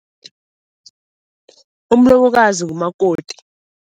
Umlobokazi ngumakoti.